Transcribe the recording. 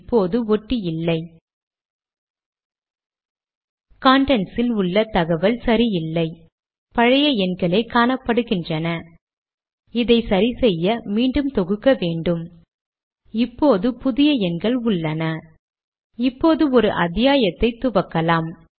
எல்லா லேடக் கட்டளைகளும் பின் சாய் கோடு கொண்டு துவங்குவதை கவனித்திருக்க்கலாம்